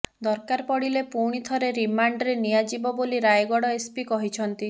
ଦରକାର ପଡ଼ିଲେ ପୁଣି ଥରେ ରିମାଣ୍ଡରେ ନିଆଯିବ ବୋଲି ରାୟଗଡ଼ ଏସ୍ପି କହିଛନ୍ତି